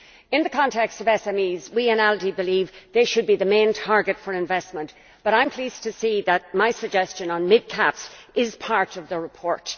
In the context of SMEs, we in ALDE believe they should be the main target for investment. However, I am pleased to see that my suggestion on midcaps is part of the report.